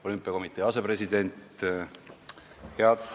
Olümpiakomitee asepresident!